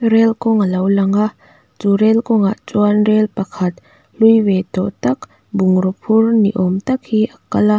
rail kawng a lo lang a chu rail kawngah chuan rel pakhat hlui ve tawh tak bungraw phur ni awm tak hi a kal a.